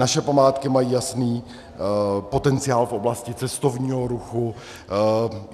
Naše památky mají jasný potenciál v oblasti cestovního ruchu.